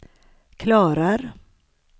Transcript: klarar